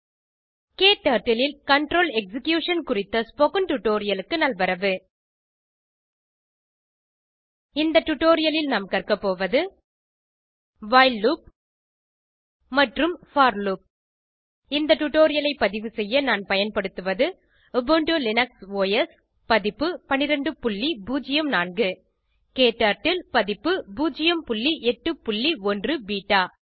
க்டர்ட்டில் ல் control execution குறித்த ஸ்போகன் டுடோரியலுக்கு நல்வரவு இந்த டுடோரியலில் நாம் கற்க போவது வைல் லூப் மற்றும் போர் லூப் இந்த டுடோரியலைப் பதிவு செய்ய நான் பயன்படுத்துவது உபுண்டு லினக்ஸ் ஒஸ் பதிப்பு 1204 க்டர்ட்டில் பதிப்பு 081 பெட்டா